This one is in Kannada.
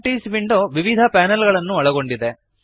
ಈ ಪ್ರಾಪರ್ಟೀಸ್ ವಿಂಡೋ ವಿವಿಧ ಪ್ಯಾನಲ್ ಗಳನ್ನು ಒಳಗೊಂಡಿದೆ